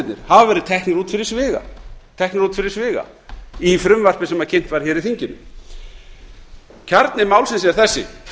orkunýtingarkostirnir hafa verið teknir út fyrir sviga í frumvarpi sem kynnt var hér í þinginu kjarni málsins er þessi